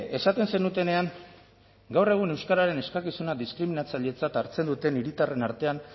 esaten zenutenean gaur egun euskararen eskakizuna diskriminatzailetzat hartzen duten hiritarren artean